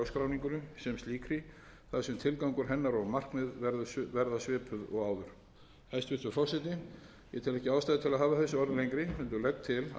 sem slíkri þar sem tilgangur hennar og markmið verða svipuð og áður hæstvirtur forseti ég tel ekki ástæðu til að hafa þessi orð lengri heldur legg til að frumvarpinu verði að